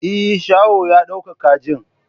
Eh, shaho ya dauko kajin.